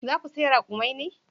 Za ku saya rakumai ne?